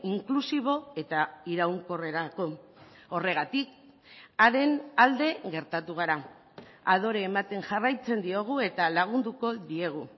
inklusibo eta iraunkorrerako horregatik haren alde gertatu gara adore ematen jarraitzen diogu eta lagunduko diegu